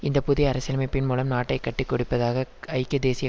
இந்த புதிய அரசியலமைப்பின் மூலம் நாட்டை காட்டிக்கொடுப்பதாக ஐக்கிய தேசிய